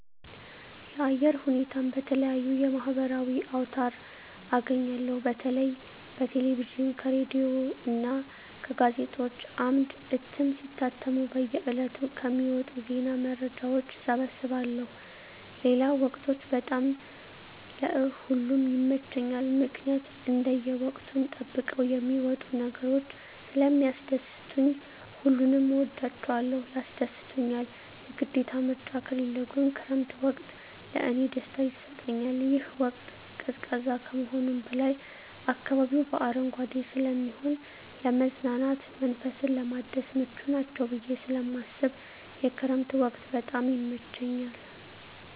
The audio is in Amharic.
የአየር ሁኔታን በተለየዩ የማህበራዊ አውታር አገኛለሁ በተለይ በቴሌቪዥን ከሬዲዮ እና በጋዜጦች አምድ እትም ሲታተሙ በየ ዕለቱ ከሚወጡ ዜና መረጃዎች እሰበስባለሁ ሌለው ወቅቶች በጣም ለእ ሁሉም ይመቸኛል ምክኒያት እንደየ ወቅቱን ጠብቀው የሚመጡ ነገሮች ስለሚስደስቱኝ ሁሉንም እወዳቸዋለሁ ያስደስቱኛል የግዴታ ምርጫ ካለው ግን ክረምት ወቅት ለእኔ ደስታ ይሰጠኛል ይህ ወቅት ቀዝቃዛ ከመሆኑም በላይ አካባቢው በአረንጓዴ ስለሚሆን ለመዝናናት መንፈስን ለማደስ ምቹ ናቸው ብየ ስለማስብ የክረምት ወቅት በጣም ይመቸኛል።